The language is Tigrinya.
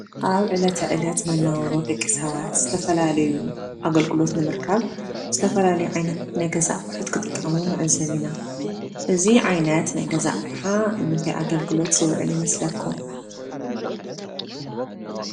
አብ ዕለተ ዕለት መነባብሮ ደቂ ሰባት ዝተፈላለዩ አገልግሎት ንምርካብ ዝተፈላለዩ ዓይነት ናይ ገዛ አቑሑ ክጥቀሙ ንዕዘብ ኢና፡፡ እዚ ዓይነት ናይ ገዛ አቅሓ ንምንታይ ዓይነት አገልግሎት ዝውዕል ይመስለኩም?